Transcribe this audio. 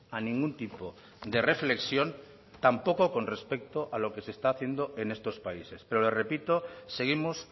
a ningún tipo de reflexión tampoco con respecto a lo que se está haciendo en estos países pero le repito seguimos